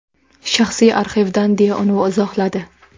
Shaxsiy arxivdan”, deya uni izohladi.